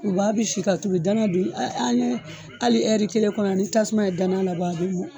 Kurubaga bɛ si ka tobi, danan dun hali ni hali kelen kɔnɔ hali ni tasuma ye danan labɔ a bɛ mɔ.